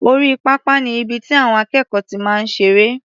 Orí pápá ni ibi tí àwọn akẹ́kọ̀ọ́ ti máa ń ṣeré.